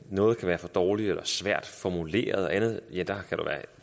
noget kan være for dårligt eller svært formuleret og